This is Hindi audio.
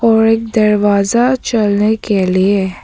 और एक दरवाजा चलने के लिए है।